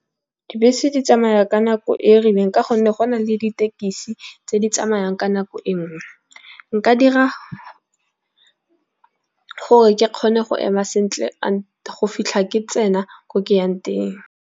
Dibese di tsamaya ka nako e rileng ka gonne go na le ditekisi tse di tsamayang ka nako e nngwe. Nka dira gore ke kgone go ema sentle go fitlha ke tsena ko ke yang teng.